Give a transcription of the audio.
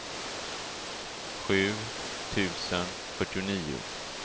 sju tusen fyrtionio